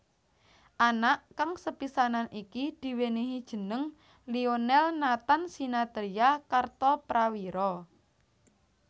Anak kang sepisanan iki diwènèhi jeneng Lionel Nathan Sinathrya Kartoprawiro